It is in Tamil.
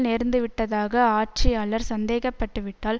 நேர்ந்துவிட்டதாக ஆட்சியாளர் சந்தேக பட்டுவிட்டால்